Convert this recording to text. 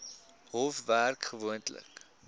hof werk gewoonlik